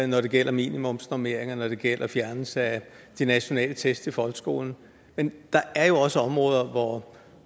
når det gælder minimumsnormeringer når det gælder fjernelse af de nationale test i folkeskolen men der er jo også områder hvor